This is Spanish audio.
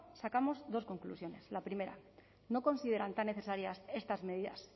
sacamos dos conclusiones la primera no consideran tan necesarias estas medidas